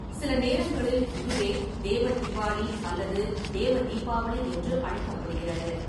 சில நேரங்களில் இதுவே தேவ-தீவாளி அல்லது தேவ-தீபாவளி என்று அழைக்கப்படுகிறது.